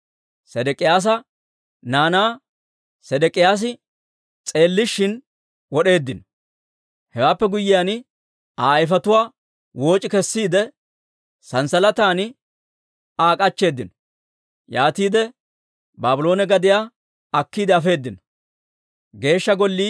Sedek'iyaasa naanaa Sedek'iyaasi s'eellishin wod'eeddino. Hewaappe guyyiyaan, Aa ayfetuwaa wooc'i kessiide, sanssalatan Aa k'achcheeddinno; yaatiide Baabloone gadiyaa akkiide afeedino.